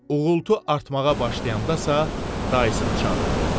Uğultu artmağa başlayandasa dayısını çağırdı.